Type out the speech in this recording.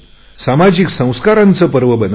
सामाजिक संस्काराचे पर्व बनवले